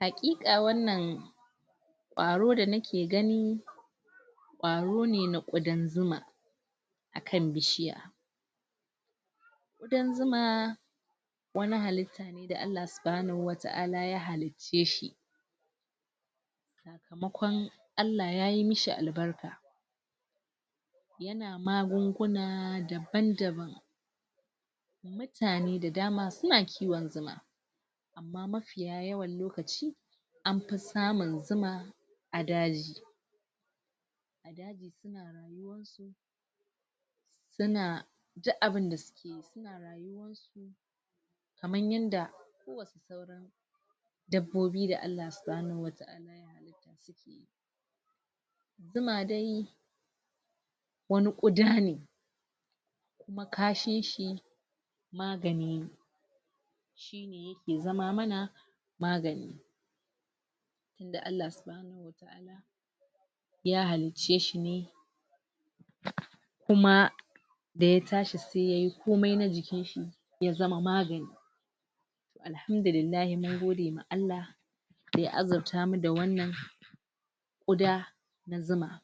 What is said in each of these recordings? Haƙiƙa wannan ƙwaro da nake gani ƙwaro ne na ƙudan zuma akan bishiya. Ƙudan zuma wani halitta ne da Allah Subhanahu Wa Ta'ala ya halicce shi sakamakon Allah yayi mishi al barka yana magunguna daban-daban mutane da dama suna kiwon zuma amma mafiya yawan lokaci ampi samun zuma a daji. A daji suna rayuwan su suna uk abinda sukeyi suna rayuwan su kamar yadda ko wasu sauran dabbobi da Allah Subhanahu Wa Ta'ala ya halitta suke yi. Zuma dai wani ƙuda ne kuma kashin shi magani ne shine yake zama mana magani tinda Allah Subhanahu Wa Ta'ala ya halicce shi ne kuma daya tashi se yayi komai na jikinshi ya zama magani toh Alhamdulillahi mun gode ma Allah daya azirta mu da wannan ƙuda na zuma.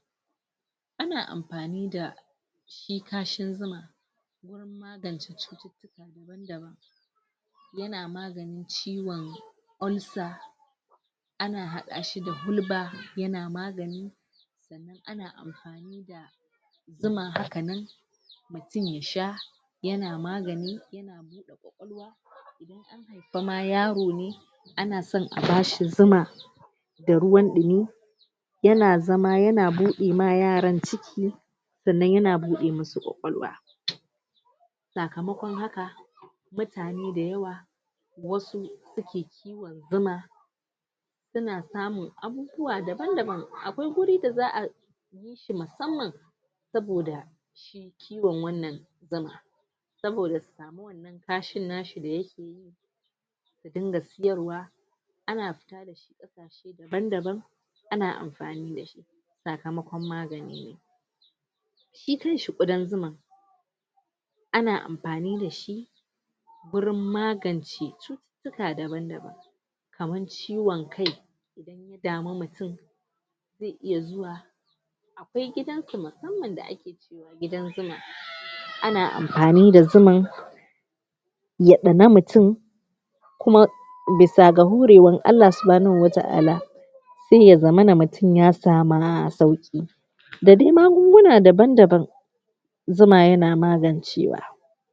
Ana ampani da shi kashin zuma wurin magance cututtuka daban-daban yana maganin ciwon ulcer, ana haɗa shi da hulɓa, yana magani sannan ana ampani da zuma haka nan mutum ya sha yana magani, yana buɗa ƙwaƙwalwa, idan an haipa ma yaro ne ana san a bashi zuma da ruwan ɗimi, yana zama yana budima yaran ciki, sannan yana buɗe musu ƙwawalwa sakamakon haka mutane da yawa wasu suke kiwon zuma suna samun abubuwa daban-daban akwai guri da za'a yi shi yi shi musamman saboda shi kiwon wannan zuma saboda su samu wannan kashin nashi da yake yi su dinga siyarwa ana fita dashi kasaashe daban-daban ana amfani dashi sakamakon magani ne. Shi kanshi ƙudan zuman ana ampani dashi gurin magance cututtuka daban-daban kaman ciwon kai idan ya dami mutum ze iya zuwa akwai gidan su musamman da ake cewa gidan zuma ana ampani da zuman ya ɗana mutum kuma bisaa ga hure wan Allah Subhanahu Wa Ta'ala sai ya zamana mutum ya sama sauƙi da dai magunguna daban-daban zuma yana magancewa.